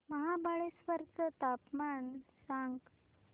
महाबळेश्वर चं तापमान सांग